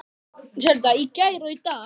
Og ef þú snertir drengina skal ég kyrkja þig.